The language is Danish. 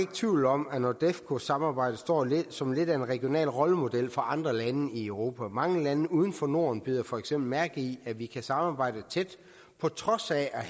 tvivl om at nordefco samarbejdet står som lidt af en regional rollemodel for andre lande i europa mange lande uden for norden bider for eksempel mærke i at vi kan samarbejde tæt på trods af